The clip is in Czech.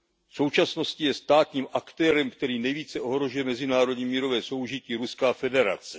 V současnosti je státním aktérem, který nejvíce ohrožuje mezinárodní mírové soužití, Ruská federace.